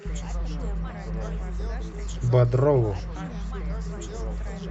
бодрову